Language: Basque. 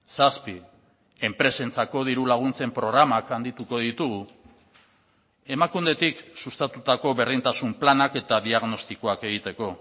zazpi enpresentzako dirulaguntzen programak handituko ditugu emakundetik sustatutako berdintasun planak eta diagnostikoak egiteko